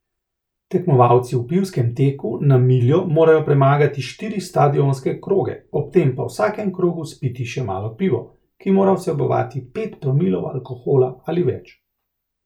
Tekmovalci v pivskem teku na miljo morajo premagati štiri stadionske kroge, ob tem pa v vsakem krogu spiti še malo pivo, ki mora vsebovati pet promilov alkohola ali več.